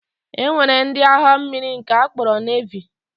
E nwere ndị agha mmiri nke a kpọrọ Nevi